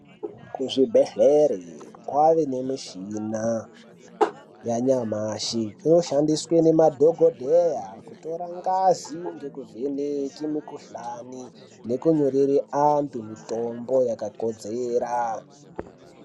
Kuzvibhehlere kwave nemushina yanyamashi inoshandiswe nemadhokodheya kutora ngazi nekuvheneke mukhuhlani nekunyorere antu mitombo yakakodzera.